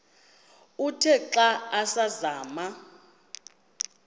uthe xa asazama